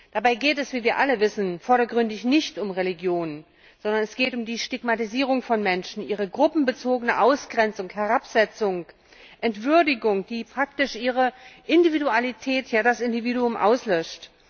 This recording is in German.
Dabei geht es, wie wir alle wissen, vordergründig nicht um Religion, sondern es geht um die Stigmatisierung von Menschen, ihre gruppenbezogene Ausgrenzung, Herabsetzung, Entwürdigung, die praktisch ihre Individualität, ja das Individuum auslöscht.